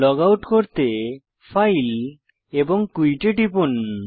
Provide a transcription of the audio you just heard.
log out করতে file এবং quit এ টিপুন